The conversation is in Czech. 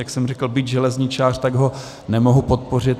Jak jsem řekl, byť železničář, tak ho nemohu podpořit.